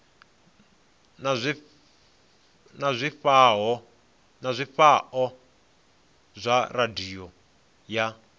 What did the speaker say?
na zwifhao zwa radio ya